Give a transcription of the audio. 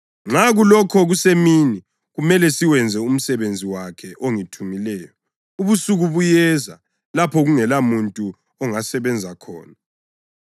Nxa kulokhu kusemini kumele siwenze umsebenzi wakhe ongithumileyo. Ubusuku buyeza lapho kungelamuntu ongasebenza khona.